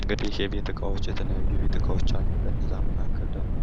እንግድህ የቤት እቃዎች የተለያዩ የቤት እቃዎች ይታያሉ። ከነዚያ መካከል ደግሞ